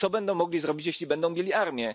Co będą mogli zrobić, jeśli będą mieli armię?